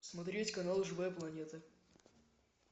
смотреть канал живая планета